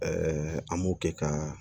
an m'o kɛ ka